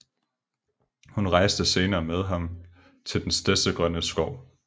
Hun rejste senere med ham til Den Stedsegrønne Skov